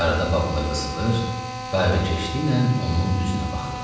Arada Babıla qısıılır, qayğıkeşliklə onun üzünə baxırdı.